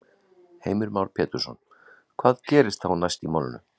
Heimir Már Pétursson: Hvað gerist þá næst í málinu?